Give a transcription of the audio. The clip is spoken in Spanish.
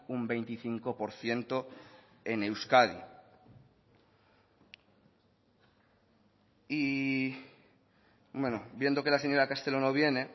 un veinticinco por ciento en euskadi y viendo que la señora castelo no viene